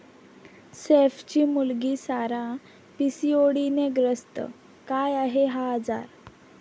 सैफची मुलगी सारा पीसीओडीने ग्रस्त, काय आहे हा आजार?